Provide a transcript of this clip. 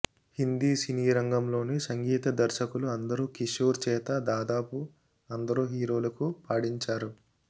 హిందీ సినీరంగంలోని సంగీత దర్శకులు అందరూ కిషోర్ చేత దాదాపు అందరు హీరోలకూ పాడించారు